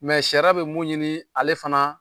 Mɛ sariyra bɛ mun ɲini ale fana